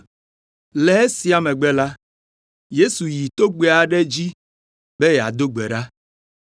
Le esia megbe la, Yesu yi togbɛ aɖe dzi be yeado gbe ɖa.